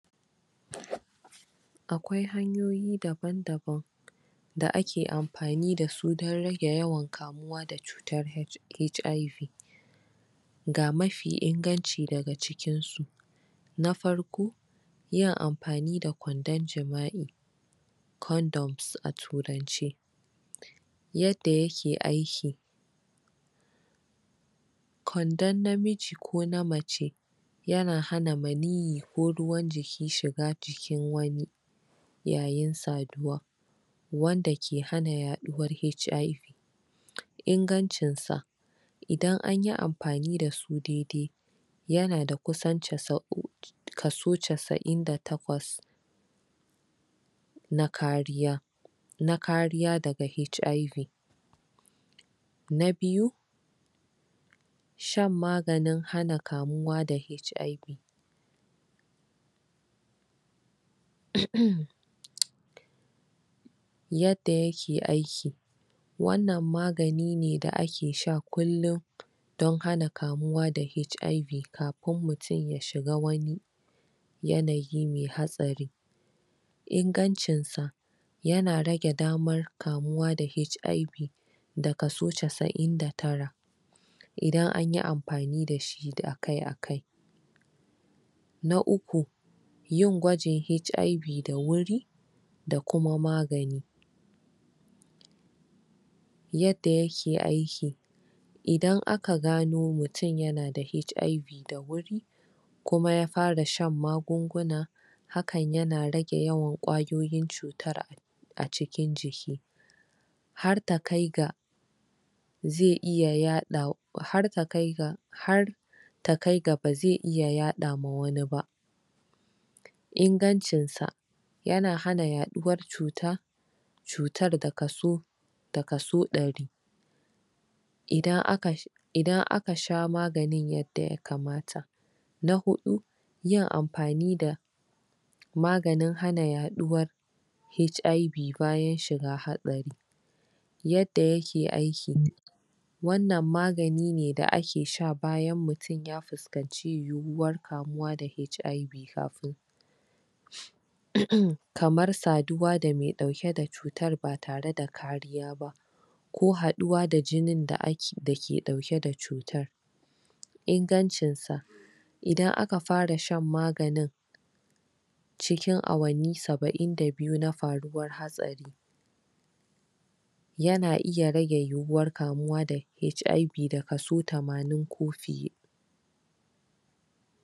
Akwai hanyoyi daban daban da ake amfani dasu dan rage yawan kamuwa da cutar HIV (ƙanjamou) ga mafi inganci daga cikinsu na farko yin amfani da kwandon jima'i condoms a turance yadda yake aiki kwandon na miji ko na mace yana hana maniyi ko ruwan jiki shiga jikin wani yayin saduwa wanda ke hana yaɗuwan HIV ingancin sa idan anyi amfani dasu dedai yanada kusan kaso kaso casa'in da takwas na kariya na kariya daga HIV na biyu shan maganin hana kamuwa da HIV? yadda yake aiki wannan magani ne da ake sha kullum don hana kamuwa da HIV kafin mutun yashiga wani yanayi me hatsari ingancin sa yana rage daman kamuwa da HIV da kaso casa'in da tara idan anyi amfani dashi akai akai na uku yin gwaji HIV da wuri da kuma magani yadda yake aiki idan aka gano mutun yanada HIV da wuri kumayafara shan magunguna hakan yana rage yawan ƙwayoyin cuta acikin jiki har takai ga ze iya yaɗawa, har takaiga har takaiga baze iya yaɗama wani ba in gancin sa yana hana yaɗuwan cuta cutar daka so da kaso ɗari idan aka idan aka sha magani yadda yakamata na huɗu yi amfani da maganin hana yaɗuwar HIV bayan shiga haɗari yadda yake aiki wannan maganine da ake sha bayan mutun ya fuskanci yuwuwar kamuwa da HIV kafin? kamar saduwa da me ɗauke da cutan batare da kariba ko haɗuwa da jinin dake ɗauke da cutar ingancin sa idan aka fara shan maganin ciki awani saba'in da biyu na faruwan hatsari yana iya rage yueuwar kamuwa da HIV da kaso tamanin ko fiye